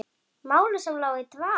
Máli sem lá í dvala!